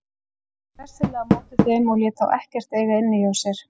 Hann tók hressilega á móti þeim og lét þá ekkert eiga inni hjá sér.